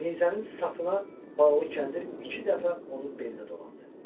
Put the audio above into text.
Nizənin sapına bağlı kəndir iki dəfə onun belinə dolandı.